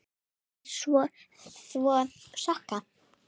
Neita að þvo sokka.